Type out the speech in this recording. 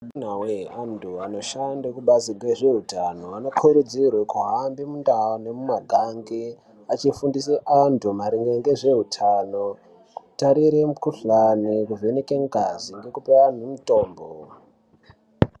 Amunawee andu ashande kubazi rezveutano ano kurudzirwa kuhamba mundau nemumaganga achifundise vantu maringe nezveutano kutarire mukuhlani kuvhenaka ngazi kuvape mutombo.